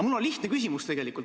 Mul on lihtne küsimus.